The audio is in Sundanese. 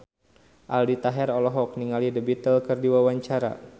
Aldi Taher olohok ningali The Beatles keur diwawancara